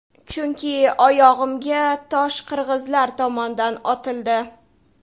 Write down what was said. Chunki oyog‘imga tosh qirg‘izlar tomondan otildi.